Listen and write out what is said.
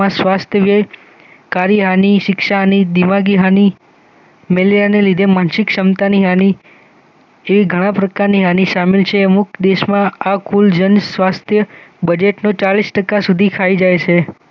સ્વસ્થજય કાર્યહાની શિક્ષાહાની દિમાગીહાની મેલેરિયાને લીધે માનસિકક્ષમતાની હાની જે ઘણા પ્રકારની હાનિ શામિલ છે. અમુક દેશમાં આ કુલ જન સ્વાસ્થ્ય બજેટનું ચાલીસ ટકા સુધી ખાઈ જાય છે